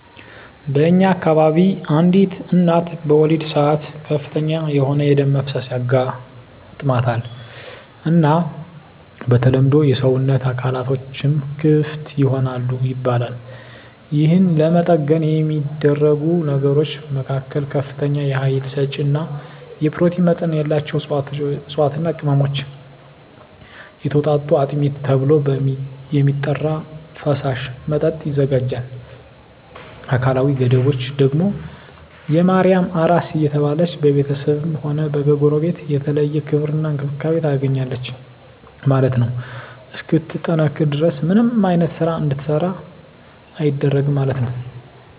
በእኛ አከባቢ አንዲት እናት በወሊድ ሰአት ከፍተኛ የሆነ የደም መፍሰስ ያጋማታል እና በተለምዶ የሰወነት አካላትቶችም ክፍት ይሆናል ይባላል የህን ለመጠገን የሚደረጉ ነገሮች መካከል ከፍተኛ የሀይል ሰጪ እና የኘሮቲን መጠን ያላቸውን እፅዋትና ቅመሞች የተወጣጡ አጥሚት ተብሎ የሚጠራራ ፈሳሽ መጠጥ ይዘጋጃል አካላዊ ገደቦች ደግም የማርያም አራስ እየተባለች በቤተስብም ሆነ ከጎረቤት የተለየ ክብር እና እንክብካቤ ታገኛለች ማለት ነው እስክትጠነክር ድረስ ምንም አይነት ስራ እንድትሰራ አይደረግም ማለት ነው።